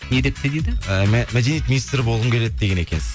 не депті дейді ы мәдениет министрі болғым келеді деген екенсіз